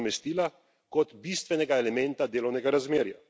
nadomestila kot bistvenega elementa delovnega razmerja.